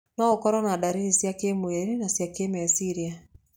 No ũkorwo na ndariri cia kĩmwĩrĩ na cia kĩmeciria.